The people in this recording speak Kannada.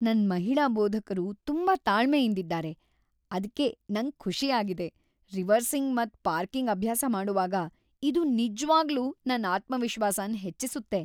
ನನ್ ಮಹಿಳಾ ಬೋಧಕರು ತುಂಬಾ ತಾಳ್ಮೆಯಿಂದಿದ್ದಾರೆ ಅದ್ಕೆ ನಂಗ್ ಖುಷಿ ಆಗಿದೆ. ರಿವರ್ಸಿಂಗ್ ಮತ್ ಪಾರ್ಕಿಂಗ್ ಅಭ್ಯಾಸ ಮಾಡೊವಾಗ ಇದು ನಿಜ್ವಾಗ್ಲೂ ನನ್ ಆತ್ಮವಿಶ್ವಾಸನ್ ಹೆಚ್ಚಿಸುತ್ತೆ.